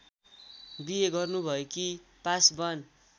बिहे गर्नुभएकी पासवान